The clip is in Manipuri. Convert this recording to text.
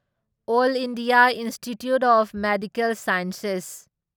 all India institute of medical science ꯑꯦꯏꯟꯁꯦꯁ